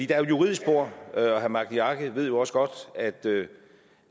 juridisk spor og herre magni arge ved jo også godt